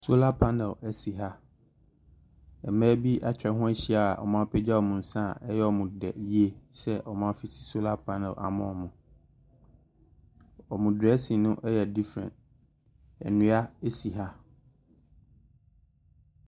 Solar panel asi ha, mmaa bi atwa ho ahyia a )mo apagya )mo nsa , 3y3 )mod3 yie s3 )mo as) solar panel ama )mo , )mo dressing no y3 different, nnua asi ha.